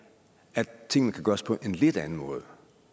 at tingene kan gøres på en lidt anden måde